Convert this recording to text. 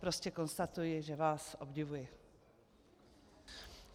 Prostě konstatuji, že vás obdivuji.